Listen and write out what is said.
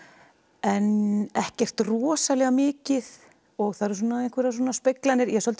en ekkert rosalega mikið og það eru einhverjar speglanir ég er svolítið